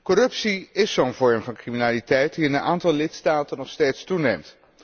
Corruptie is zo'n vorm van criminaliteit die in een aantal lidstaten nog steeds toeneemt.